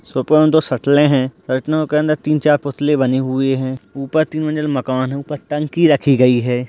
Shop में त सटले हैं सटने के तीन-चार पोटले बानी हुए हैं ऊपर तीन मंजिल मकान है ऊपर टंकी रखी गई है।